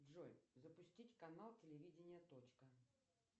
джой запустить канал телевидение точка